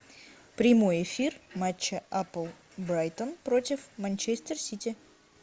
прямой эфир матча апл брайтон против манчестер сити